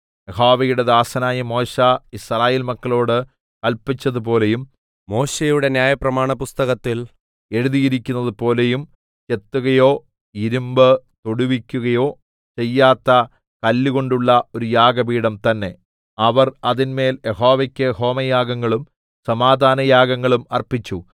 യഹോവയുടെ ദാസനായ മോശെ യിസ്രായേൽ മക്കളോട് കല്പിച്ചതുപോലെയും മോശെയുടെ ന്യായപ്രമാണപുസ്തകത്തിൽ എഴുതിയിരിക്കുന്നതുപോലെയും ചെത്തുകയോ ഇരിമ്പു തൊടുവിക്കയൊ ചെയ്യാത്ത കല്ലുകൊണ്ടുള്ള ഒരു യാഗപീഠം തന്നേ അവർ അതിന്മേൽ യഹോവക്ക് ഹോമയാഗങ്ങളും സമാധാനയാഗങ്ങളും അർപ്പിച്ചു